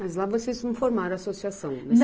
Mas lá vocês não formaram associação?